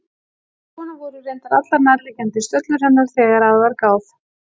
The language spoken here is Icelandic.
En svona voru reyndar allar nærliggjandi stöllur hennar þegar að var gáð.